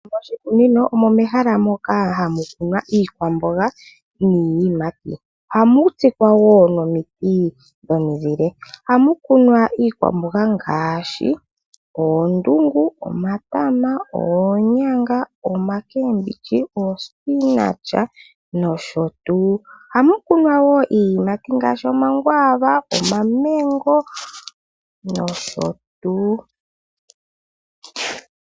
Moshikunino omo mehala moka hamu kunwa iikwambonga niiyimati ohamu tsikwa woo nomiti dhomizile. Ohamukunwa iikwambonga ngaashi oondungu, omatama, oonyanga, omakembilyi, osipinatya nosho tuu. Ohamukunwa iiyimati ngaashi omakwaava, omamengo nosho tuu.